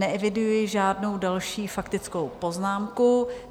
Neeviduji žádnou další faktickou poznámku.